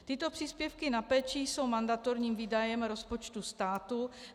Tyto příspěvky na péči jsou mandatorním výdajem rozpočtu státu.